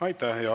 Aitäh!